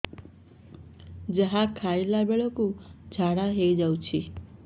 ଯାହା ଖାଇଲା ବେଳକୁ ଝାଡ଼ା ହୋଇ ଯାଉଛି